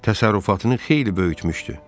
Təsərrüfatını xeyli böyütmüşdü.